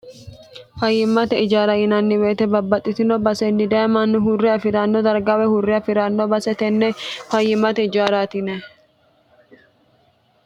fayyimmate ijaara yinanni beyete babbaxxitino basenni dayemannu hurre afi'ranno dargawe hurre afi'ranno basetenne fayyimmate ijaaraatine